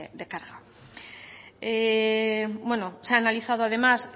de carga bueno se ha analizado además